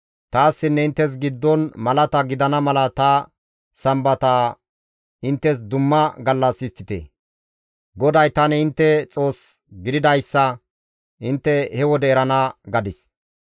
Taassinne inttes giddon malata gidana mala ta Sambata inttes dumma gallas histtite; GODAY tani intte Xoos gididayssa intte he wode erana› gadis.